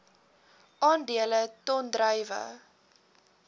aandele ton druiwe